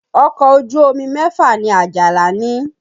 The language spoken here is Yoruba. Ọkọ̀ ojú omi mẹ́fà ni Àjàlá ní